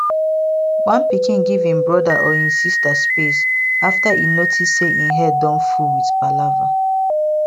one pikin give im brother or im sister space after e notice say im head don full with palava